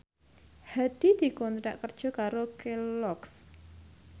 Hadi dikontrak kerja karo Kelloggs